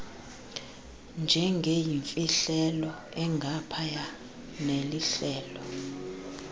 njengeyimfihlelo engaphaya nelihlelo